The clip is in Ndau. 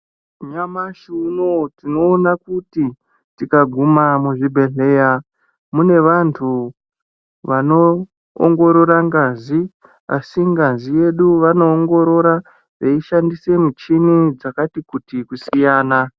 Nyamashi unowu tinoona kuti, tikaguma muzvibhedhleya, mune vantu vanoongorora ngazi ,asi ngazi yedu vanoongorora , veishandise michini dzakati kuti, kusiyana.